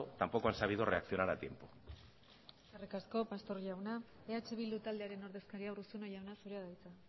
tampoco han sabido reaccionar a tiempo eskerrik asko pastor jauna eh bildu taldearen ordezkaria urruzuno jauna zurea da hitza